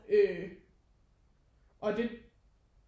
Øh og det